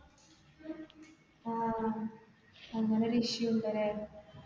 ആ അങ്ങനെ ഒരു issue ഉണ്ടല്ലേ.